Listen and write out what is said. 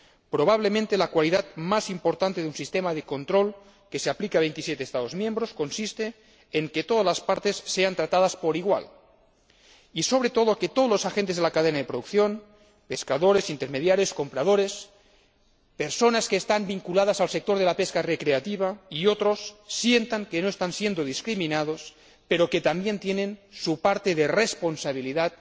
Probablemente la cualidad más importante de un sistema de control que se aplica a 27 Estados miembros consiste en que todas las partes sean tratadas por igual y, sobre todo, que todos los agentes de la cadena de producción pescadores, intermediarios, compradores, personas vinculadas al sector de la pesca recreativa y otros sientan que no están siendo discriminados, pero también que tienen su parte de responsabilidad